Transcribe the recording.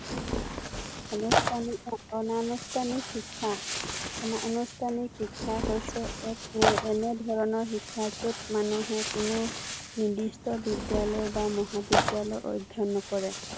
আনুষ্ঠানিক অনানুষ্ঠানিক শিক্ষা, অনানুষ্ঠানিক শিক্ষা হৈছে এক এৰ এনে ধৰণৰ শিক্ষা যত মানুহে কোনো নিৰ্দিষ্ট বিদ্যালয় বা মহাবিদ্যালয়ত অধ্যয়ন নকৰে।